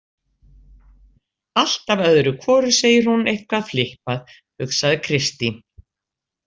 Alltaf öðru hvoru segir hún eitthvað flippað, hugsaði Kristín.